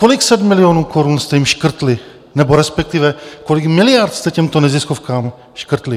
Kolik set milionů korun jste jim škrtli, nebo respektive kolik miliard jste těmto neziskovkám škrtli?